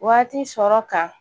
Waati sɔrɔ kan